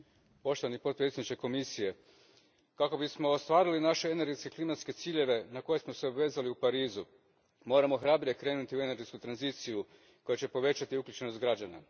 Gospodine potpredsjedniče Komisije, kako bismo ostvarili naše energetske klimatske ciljeve na koje smo se obvezali u Parizu, moramo hrabrije krenuti u energetsku tranziciju koja će povećati uključenost građana.